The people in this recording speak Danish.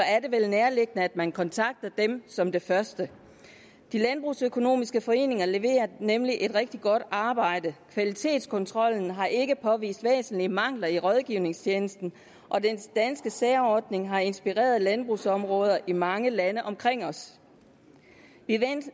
er det vel nærliggende at man kontakter dem som det første de landbrugsøkonomiske foreninger leverer nemlig et rigtig godt arbejde kvalitetskontrollen har ikke påvist væsentlige mangler i rådgivningstjenesten og den danske særordning har inspireret landbrugsområder i mange lande omkring os